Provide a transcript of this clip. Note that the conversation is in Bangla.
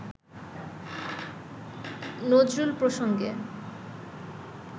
নজরুল প্রসঙ্গে